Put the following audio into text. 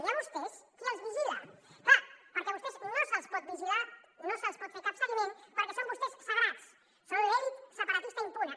i a vostès qui els vigila clar perquè a vostès no se’ls pot vigilar no se’ls pot fer cap seguiment perquè són vostès sagrats són l’elit separatista impune